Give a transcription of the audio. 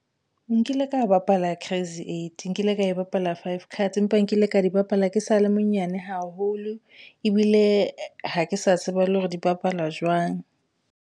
Nkile ka bapala crazy eight. Nkile ka e bapala five cards, empa nkile ka di bapala ke sa le monyane haholo ebile ha ke sa tseba le hore di bapalwa jwang.